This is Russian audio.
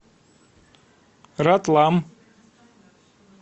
ратлам